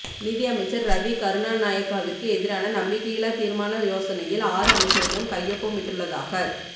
நிதி அமைச்சர் ரவி கருணாநாயக்கவிற்கு எதிரான நம்பிக்கையில்லா தீர்மான யோசனையில் ஆறு அமைச்சர்களும் கையொப்பமிட்டுள்ளதாகத்